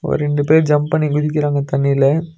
ஒரு ரெண்டு பேர் ஜம்ப் பண்ணி குதிக்கிறாங்க தண்ணில.